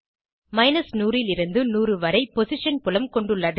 100 லிருந்து 100 வரை பொசிஷன் புலம் கொண்டுள்ளது